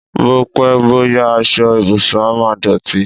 Bó pẹ́, bó yá, aṣọ ìbùsùn á máa dọ̀tí.